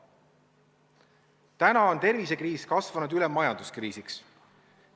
Nüüdseks on tervisekriis üle kasvanud majanduskriisiks.